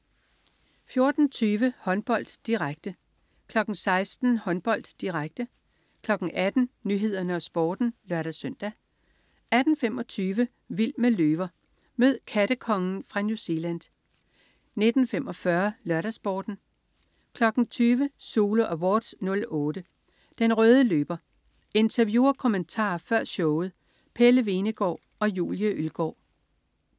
14.20 Håndbold, direkte 16.00 Håndbold, direkte 18.00 Nyhederne og Sporten (lør-søn) 18.25 Vild med løver. Mød "kattekongen" fra New Zealand 19.45 LørdagsSporten 20.00 Zulu Awards '08. Den røde løber. Interview og kommentarer før showet. Pelle Hvenegaard og Julie Ølgaard